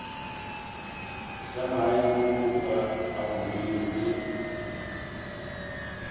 sa maemo a godimo le